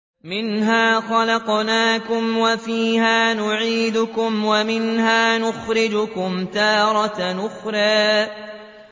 ۞ مِنْهَا خَلَقْنَاكُمْ وَفِيهَا نُعِيدُكُمْ وَمِنْهَا نُخْرِجُكُمْ تَارَةً أُخْرَىٰ